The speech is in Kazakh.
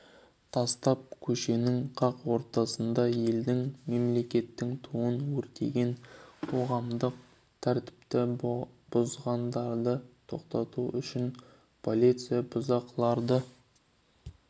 тастап көшенің қақ ортасында елдің мемлекеттік туын өртеген қоғамдық тәртіпті бұзғандарды тоқтату үшін полиция бұзақыларды